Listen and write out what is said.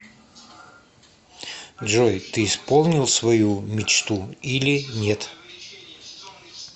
джой ты исполнил свою мечту или нет